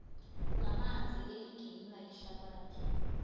lamanzi eliginywa yihlabathi